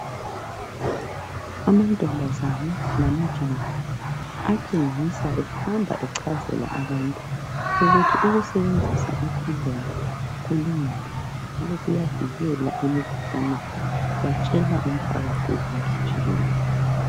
Amantombazana lamajaha atshengisa ehamba echazela abantu ukuthi ukusebenzisa ikhondomu kulungile njalo kuyavikela emikhuhlaneni. Batshela umpakathi wonke jikelele.